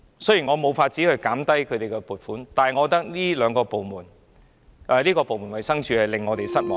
雖然我沒有辦法削減衞生署的撥款，但我覺得這個部門是令我們失望的。